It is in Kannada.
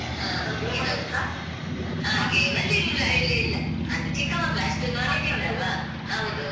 ಹ ಹ game ಲ್ಲಿ ಇಲ್ಲ ಇಲ್ಲ ಇಲ್ಲ. ಅದು ಚಿಕ್ಕ ಮಕ್ಳು. ಅಷ್ಟು knowledge ಇಲ್ಲಲ್ಲ? ಹೌದೌದು.